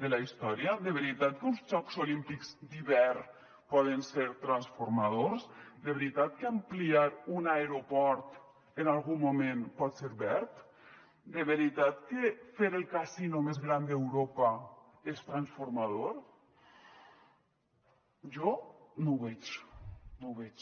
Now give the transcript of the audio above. de la història de veritat que uns jocs olímpics d’hivern poden ser transformadors de veritat que ampliar un aeroport en algun moment pot ser verd de veritat que fer el casino més gran d’europa és transformador jo no ho veig no ho veig